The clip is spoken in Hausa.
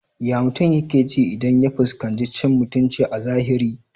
Ya mutum yake ji idan ya fuskanci cin muutunci a zahiri?